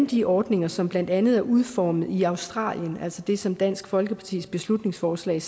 de ordninger som blandt andet er udformet i australien altså det som dansk folkepartis beslutningsforslag